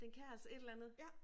Den kan altså et eller andet